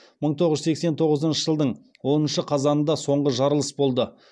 мың тоғыз жүз сексен тоғызыншы жылдың оныншы қазанында соңғы жарылыс болды